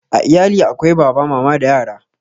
A iyali akwai Baba, Mama da yara